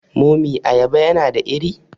mummy abaya yana da ire?